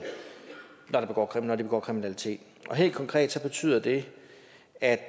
når de begår kriminalitet helt konkret betyder det at